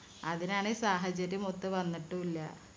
അതിനാണെ സാഹചര്യമൊത്ത് വന്നിട്ടൂല